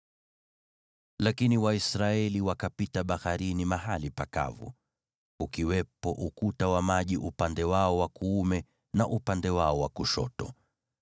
Lakini Waisraeli wakapita baharini mahali pakavu, ukiwepo ukuta wa maji upande wao wa kuume na upande wao wa kushoto.